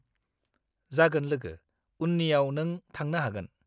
जागोन लोगो, उननियाव नों थांनो हागोन।